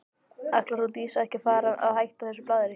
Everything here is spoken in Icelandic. Ætlar hún Dísa ekki að fara að hætta þessu blaðri?